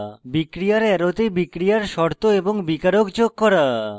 বিক্রিয়ার অ্যারোতে বিক্রিয়ার শর্ত এবং বিকারক যোগ করা